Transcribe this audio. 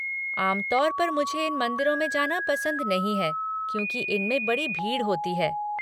आम तौर पर मुझे इन मंदिरों में जाना पसंद नहीं हैं क्योंकि इनमें बड़ी भीड़ होती है।